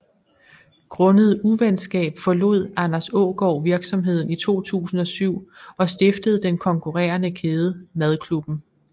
Grundet uvenskab forlod Anders Aagaard virksomheden i 2007 og stiftede den konkurrerende kæde Madklubben